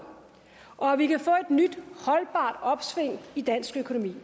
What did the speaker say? og at vi kan få et nyt holdbart opsving i dansk økonomi vi